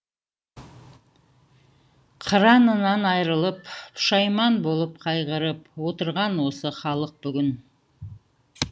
қыранынан айрылып пұшайман болып қайғырып отырған осы халық бүгін